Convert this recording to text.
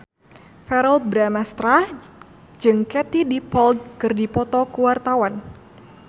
Verrell Bramastra jeung Katie Dippold keur dipoto ku wartawan